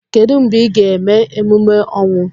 Kedu mgbe ị ga-eme emume ọnwụ?